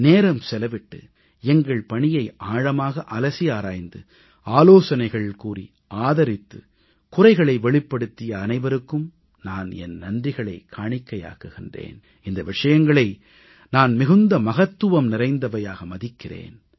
நேரம் செலவிட்டு எங்கள் பணியை ஆழமாக அலசி ஆராய்ந்து ஆலோசனைகள் கூறி ஆதரித்து குறைகளை வெளிப்படுத்திய அனைவருக்கும் நான் என் நன்றிகளைக் காணிக்கையாக்குகிறேன் இந்த விஷயங்களை நான் மிகுந்த மகத்துவம் நிறைந்தவையாக மதிக்கிறேன்